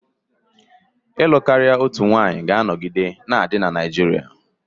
ịlụ karịa otu nwanyị ga-anọgide na-adị na Naijiria